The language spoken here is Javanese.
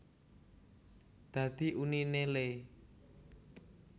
Dadi uniné le